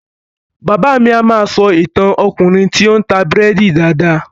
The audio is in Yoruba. Bàbá mi a máa sọ ìtàn Ọkùnrin tí o n ta búrédì dáadáa.